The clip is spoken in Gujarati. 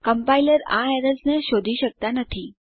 કમ્પાઇલર આ એરર્સ ને શોધી શકતા નથી